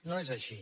no és així